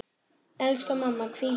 Elsku mamma, hvíl í friði.